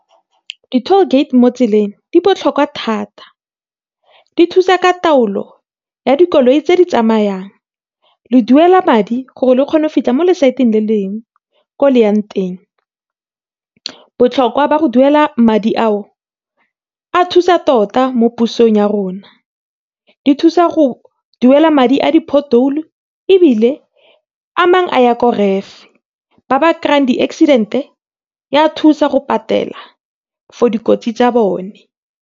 Di tallgate mo tseleng di botlhokwa thata. Di thusa ka taolo ya dikoloi tse di tsamayang, le duela madi, gore le kgone go feta mo le-side le lengwe ko leyang teng. Botlhokwa ba go duela madi ao, a thusa tota mo pusong ya rona, di thusa go duela madi a di-pothole-o ebile, a mangwe a ya ko RAF, ba ba kry-ang di-accident-e ya thusa go patela, for dikotsi tsa bone.